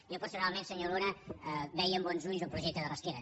jo personalment senyor luna veia amb bons ulls el projecte de rasquera